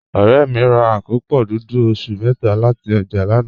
Ọ̀rẹ́ mi rà àkópọ́ dúdú ọ̀ṣun métà láti ojá lànà.